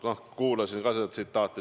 Noh, ma kuulasin ka seda tsitaati.